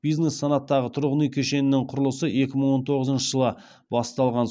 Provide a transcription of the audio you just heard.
бизнес санаттағы тұрғын үй кешенінің құрылысы екі мың он тоғызыншы жылы басталған